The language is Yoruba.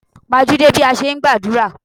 Pajúdé bí a ṣe ń gbàdúrà.